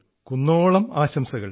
കുന്നോളം ആശംസകൾ